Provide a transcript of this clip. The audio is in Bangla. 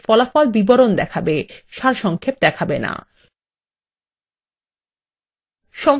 এবং আমাদের প্রশ্নএর ফলাফল বিবরণ দেখাবে সারসংক্ষেপ দেখাবে না